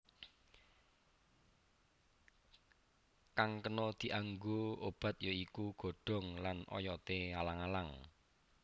Kang kena dianggo obat ya iku godhong lan oyoté alang alang